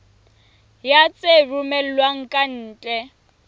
ya tse romellwang ka ntle